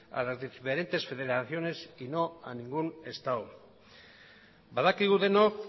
a las diferentes federaciones y no a ningún estado badakigu denok